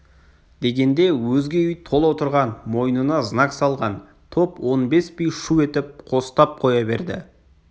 дегенде өзге үй тола отырған мойнына знак салған топ он бес би шу етіп қостап қоя берді